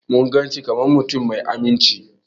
Mun gan shi kaman mutum mai amince.